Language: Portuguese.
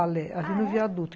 O balé ali no viaduto, ah, é?